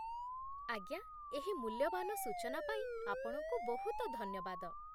ଆଜ୍ଞା, ଏହି ମୂଲ୍ୟବାନ ସୂଚନା ପାଇଁ ଆପଣଙ୍କୁ ବହୁତ ଧନ୍ୟବାଦ